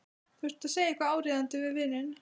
Þurfti að segja eitthvað áríðandi við vininn.